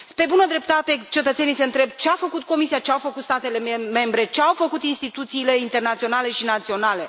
Pe bună dreptate cetățenii să întreabă ce a făcut Comisia, ce au făcut statele membre, ce au făcut instituțiile internaționale și naționale?